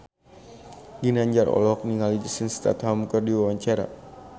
Ginanjar olohok ningali Jason Statham keur diwawancara